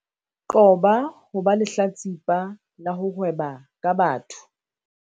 Qoba ho ba lehlatsipa la ho hweba ka batho